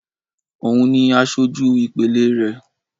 Òun ni asojú ìpele rẹ̀